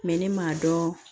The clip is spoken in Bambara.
ne m'a dɔn